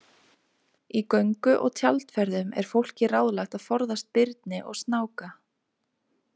Í göngu- og tjaldferðum er fólki ráðlagt að forðast birni og snáka.